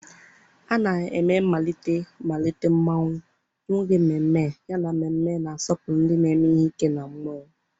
A na-eme mmalite mmalite Mmonwu n'oge mmemme, yana mmemme na-asọpụrụ ndị na-eme ihe ike na mmụọ.